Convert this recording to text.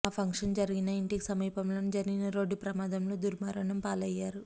ఆ ఫంక్షన్ జరిగిన ఇంటికి సమీపంలోనే జరిగిన రోడ్డు ప్రమాదంలో దుర్మరణం పాలయ్యారు